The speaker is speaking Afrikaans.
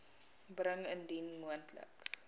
bring indien moontlik